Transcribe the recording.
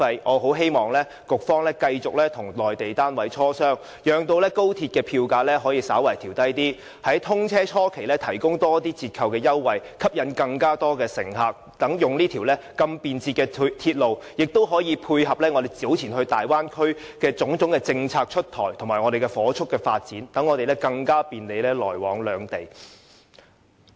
我很希望局長繼續與內地單位磋商，讓高鐵票價可以稍為調低，在通車初期提供更多折扣優惠，以吸引更多乘客使用這條如此便捷的鐵路，也可以配合大灣區政策出台與火速發展，好讓我們更便利來往兩地。